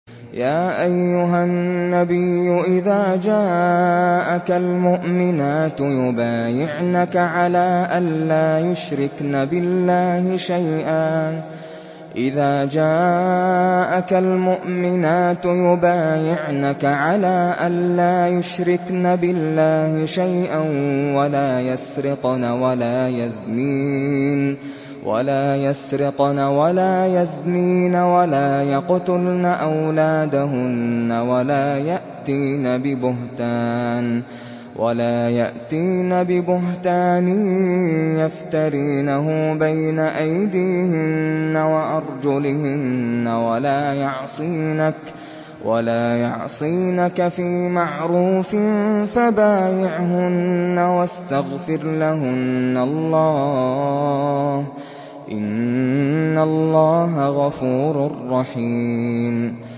يَا أَيُّهَا النَّبِيُّ إِذَا جَاءَكَ الْمُؤْمِنَاتُ يُبَايِعْنَكَ عَلَىٰ أَن لَّا يُشْرِكْنَ بِاللَّهِ شَيْئًا وَلَا يَسْرِقْنَ وَلَا يَزْنِينَ وَلَا يَقْتُلْنَ أَوْلَادَهُنَّ وَلَا يَأْتِينَ بِبُهْتَانٍ يَفْتَرِينَهُ بَيْنَ أَيْدِيهِنَّ وَأَرْجُلِهِنَّ وَلَا يَعْصِينَكَ فِي مَعْرُوفٍ ۙ فَبَايِعْهُنَّ وَاسْتَغْفِرْ لَهُنَّ اللَّهَ ۖ إِنَّ اللَّهَ غَفُورٌ رَّحِيمٌ